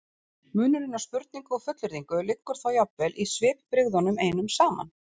Munurinn á spurningu og fullyrðingu liggur þá jafnvel í svipbrigðunum einum saman.